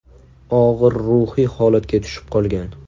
Og‘ir ruhiy holatga tushib qolgan.